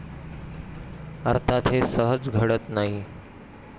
अर्थात हे सहज घडत नाही.